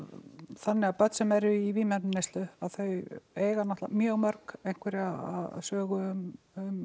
þannig að börn sem eru í vímuefnaneyslu að þau eiga mjög mörg einhverja sögu um